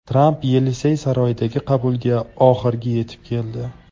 Tramp Yelisey saroyidagi qabulga oxirgi yetib keldi.